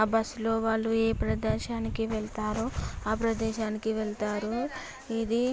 ఆ బస్సు లో వాళ్ళు ఏ ప్రదేశానికి వెళ్తారో ఆ ప్రదేశానికి వెళ్తారు ఇది --